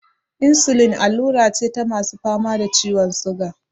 Insulin allura ce ta masu fama da ciwon siga.